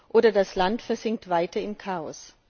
oder das Land versinkt weiter im Chaos.